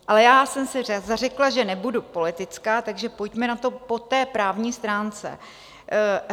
Ale já jsem se zařekla, že nebudu politická, takže pojďme na to po té právní stránce.